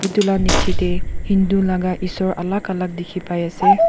etu lah niche teh hindu laga eshor alag alag dikhi pai ase.